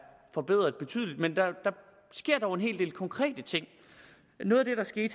forbedret betydeligt men der sker dog en hel del konkrete ting noget